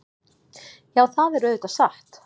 Já, það er auðvitað satt.